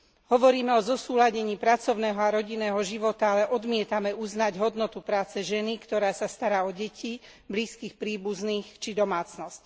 Hovoríme o zosúladení pracovného a rodinného života, ale odmietame uznať hodnotu práce ženy, ktorá sa stará o deti, blízkych príbuzných, či domácnosť.